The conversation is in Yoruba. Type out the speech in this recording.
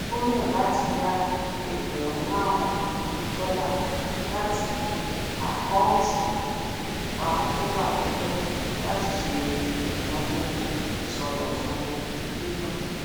ó yàn láti yá egbèrún máàrún dọlà láti akọunti ìfipamọ tó wà tẹlẹ láti ṣe ináwó ìṣọdọtún ilé náà